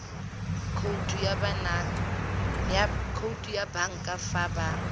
khoutu ya banka fa ba